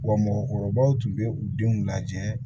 Wa mɔgɔkɔrɔbaw tun bɛ u denw lajɛ